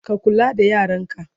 ka kula da yaranka!